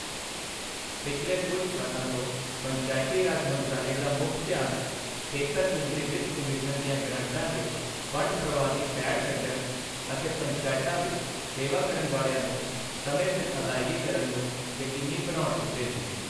ਪਿਛਲੇ ਕੁਝ ਸਾਲਾਂ ਤੋਂ ਪੰਚਾਇਤੀ ਰਾਜ ਮੰਤਰਾਲੇ ਦਾ ਮੁੱਖ ਧਿਆਨ ਖੇਤਰ ਕੇਂਦਰੀ ਵਿੱਤ ਕਮਿਸ਼ਨ ਦੀਆਂ ਗਰਾਂਟਾਂ ਦੇ ਫ਼ੰਡ ਪ੍ਰਵਾਹ ਦੀ ਪੈੜ ਕੱਢਣ ਅਤੇ ਪੰਚਾਇਤਾਂ ਵਿੱਚ ਸੇਵਾ ਕਰਨ ਵਾਲਿਆਂ ਨੂੰ ਸਮੇਂ ਸਿਰ ਅਦਾਇਗੀ ਕਰਨ ਨੂੰ ਯਕੀਨੀ ਬਣਾਉਣ ਉੱਤੇ ਸੀ।